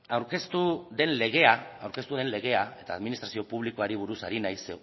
aurkeztu den legea eta administrazio publikoari buruz ari naiz